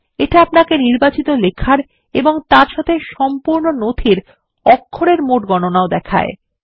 এটা আপনাকে নির্বাচিত লেখার এবং তার সাথে সম্পূর্ণ নথির অক্ষরের মোট গণনাও দেখায়